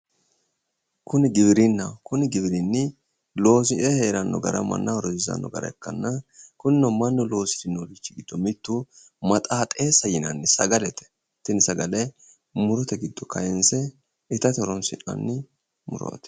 Kuni giwirinnaho. Kuni giwirinni loosire heeranno gara mannaho rosiisanno gara ikkanna kunino mannu loosirinori giddo maxaaxeessa yinanni sagalete tini sagale murote giddo kayinse itate horoo'nannite murooti.